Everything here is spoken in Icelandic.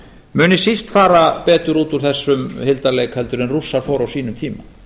muni síst fara betur út úr þessum hildarleik en rússar fóru á sínum tíma